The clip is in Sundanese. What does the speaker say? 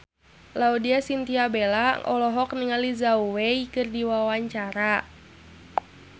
Laudya Chintya Bella olohok ningali Zhao Wei keur diwawancara